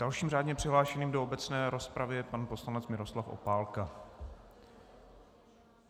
Dalším řádně přihlášeným do obecné rozpravy je pan poslanec Miroslav Opálka.